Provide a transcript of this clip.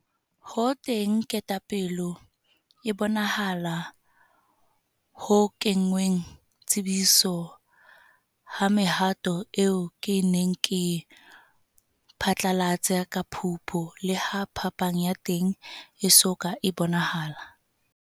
Ho teng kgatelopele e bonahalang ho kengweng tshebetsong ha mehato eo ke neng ke e phatlalatse ka Phupu, leha phapang ya teng e so ka e bonahala.